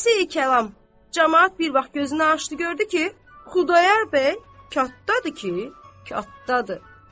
Xülasə-i kəlam, camaat bir vaxt gözünü açdı gördü ki, Xudayar bəy katdadır ki, katdadır.